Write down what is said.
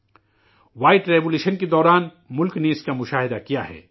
سفید انقلاب کے دوران، ملک نے، اس کا مشاہدہ کیا ہے